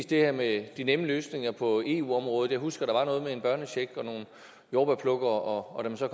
det her med de nemme løsninger på eu området jeg husker at der var noget med en børnecheck og nogle jordbærplukkere og da man så